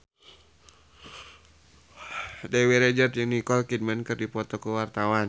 Dewi Rezer jeung Nicole Kidman keur dipoto ku wartawan